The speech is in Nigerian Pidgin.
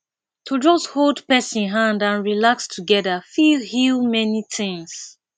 to just hold person hand and relax together fit heal many things